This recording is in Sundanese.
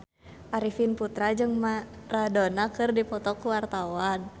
Arifin Putra jeung Maradona keur dipoto ku wartawan